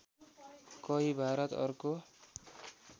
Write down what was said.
कहीँ भारत अर्को